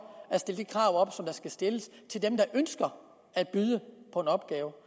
at stille de krav skal stilles til dem der ønsker at byde på en opgave